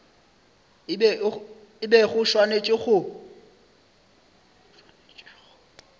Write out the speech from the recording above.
e bego e swanetše go